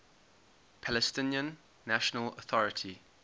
palestinian national authority